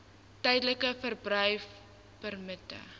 tydelike verblyfpermitte